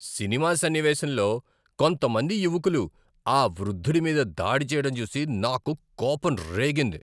Cinema సన్నివేశంలో కొంతమంది యువకులు ఆ వృద్ధుడి మీద దాడి చేయడం చూసి నాకు కోపం రేగింది.